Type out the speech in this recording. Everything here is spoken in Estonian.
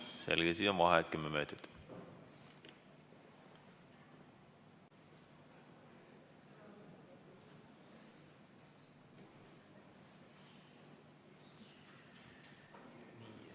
Selge, vaheaeg kümme minutit.